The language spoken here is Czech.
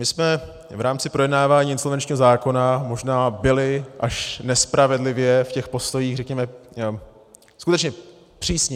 My jsme v rámci projednávání insolvenčního zákona možná byli až nespravedlivě v těch postojích, řekněme, skutečně přísní.